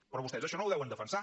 però vostès això no ho deuen defensar